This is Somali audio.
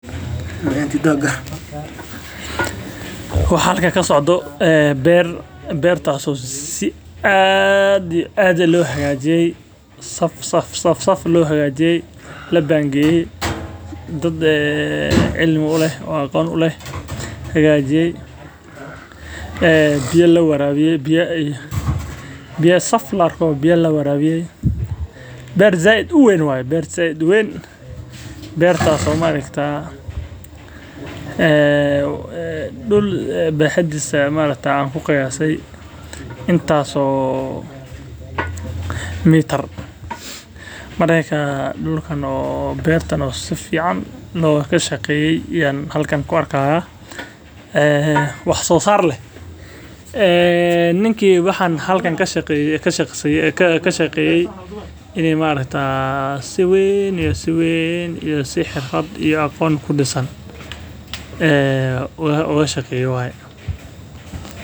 Waxa xalkan kasocdo ee ber, bertas oo si adh iyo adh loxagajiyey saf saf loxagajiye, labangeyey, dad ee cilmi uleh o aqon uleh, xagajiye ee biya lawarawiyee, biya ayy biya safwalba biya lawarawiye, ber zaid uwen wayee, ber zaid uwen, bertas o maarktaa, ee dul baxadisa maarakta an kuqiyasee intas oo mitar, markaa dulkan oo bertan oo sufican lokashaqeye ayan xalkan kuarka, ee wax sosar leh, een ninki waxaan xalkan kashaqeye ini maaraktaa si wen iyo si ween iyo si xirfad iyo agoon kudisan, ee ogashaqeyee waye.